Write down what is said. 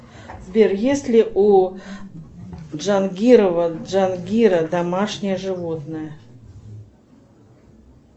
сбер есть ли у джангирова джангира домашнее животное